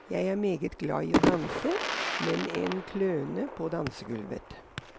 Jeg er meget glad i å danse, men en kløne på dansegulvet.